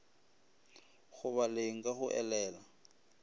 go baleng ka go elela